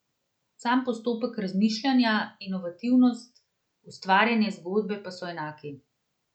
Sam postopek razmišljanja, inovativnost, ustvarjanje zgodbe pa so enaki.